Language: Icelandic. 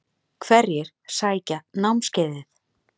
Hverjir sækja námskeiðið?